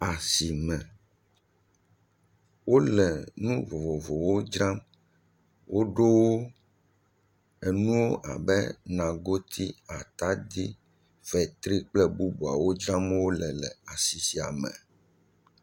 Asime, wole nu vovovowo dzram. Woɖo wo nuwo abe nagoti, ataɖi, fetri kple bubuawo dzram wole le asi sia me.